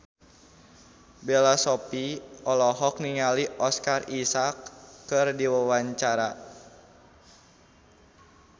Bella Shofie olohok ningali Oscar Isaac keur diwawancara